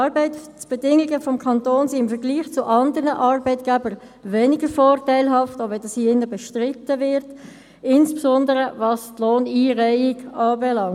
Die Arbeitsbedingungen des Kantons sind im Vergleich zu anderen Arbeitgebern weniger vorteilhaft, auch wenn das hier drin bestritten wird, insbesondere was die Lohneinreihung anbelangt.